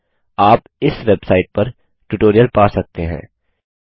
आप इस वेबसाइट पर ट्यूटोरियल पा सकते हैं